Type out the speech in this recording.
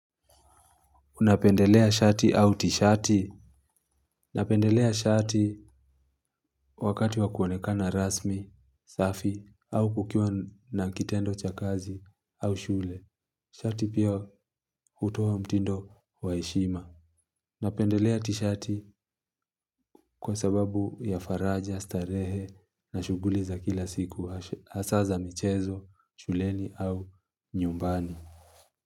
Unapendelea shati au tishati? Napendelea shati wakati wa kuonekana rasmi, safi, au kukiwa na kitendo cha kazi au shule. Shati pia hutoa mtindo wa heshima. Napendelea tishati kwa sababu ya faraja, starehe na shughuli za kila siku. Hasaa za michezo, shuleni au nyumbani.